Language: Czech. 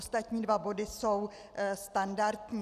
Ostatní dva body jsou standardní.